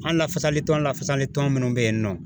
An lafasali tɔn lafasali tɔn minnu bɛ yen nɔ